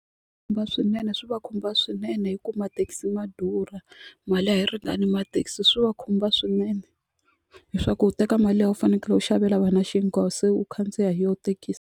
swinene swi va khumba swinene hi ku mathekisi ma durha mali a yi ringani mathekisi swi va khumba swinene leswaku u teka mali liya u fanekele ku xavela vana xinkwa se u khandziya hi yoho thekisi.